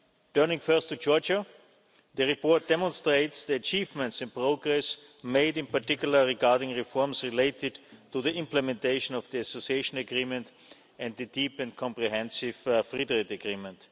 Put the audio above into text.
Turning first to Georgia. The report demonstrates the achievements in progress made in particular regarding reforms related to the implementation of the Association Agreement and the Deep and Comprehensive Free Trade Agreement.